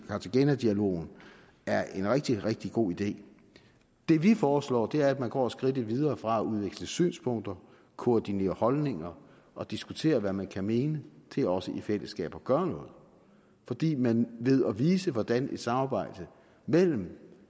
cartagena dialogen er en rigtig rigtig god idé det vi foreslår er at man går skridtet videre fra at udveksle synspunkter koordinere holdninger og diskutere hvad man kan mene til også i fællesskab at gøre noget fordi man ved at vise hvordan et samarbejde mellem